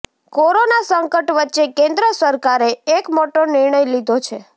corona સંકટ વચ્ચે કેન્દ્ર સરકારે એક મોટો નિર્ણય લીધો છે